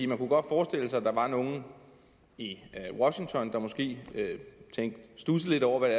man kunne godt forestille sig at der var nogle i washington der måske studsede lidt over hvad